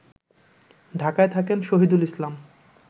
ঢাকায় থাকেন শহীদুল ইসলাম